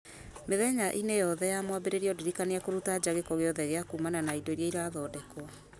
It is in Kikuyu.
mĩthenya-inĩ yothe ya mwambĩrĩrio ndirikania kũruta nja gĩko gĩothe gĩa kumana na indo iria irathondekwo